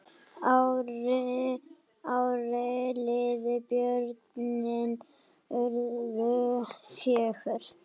Árin liðu, börnin urðu fjögur.